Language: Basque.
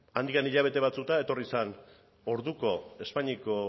handik hilabete batzuetara etorri zen orduko espainiako